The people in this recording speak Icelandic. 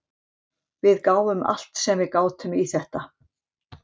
Við gáfum allt sem við gátum í þetta.